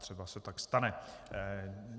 Třeba se tak stane.